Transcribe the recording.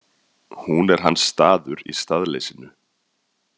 Hún er hans staður í staðleysinu.